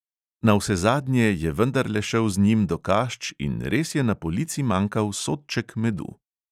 Navsezadnje je vendarle šel z njim do kašč in res je na polici manjkal sodček medu.